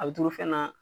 A bɛ turu fɛn na